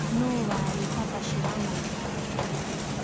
nũ warĩ papa Shirandula